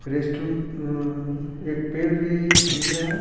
Rest room अअअ एक पेड़ भी दिख रहा है।